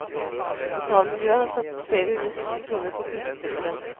Lokalmiljøet har satset flere hundre tusen kroner på kulestøteren.